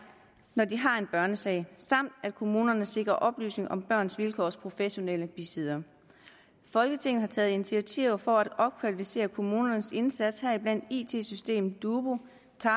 når de har en børnesag samt at kommunerne sikrer oplysning om børns vilkårs professionelle bisiddere folketinget har taget initiativer for at opkvalificere kommunernes indsats heriblandt it systemet dubu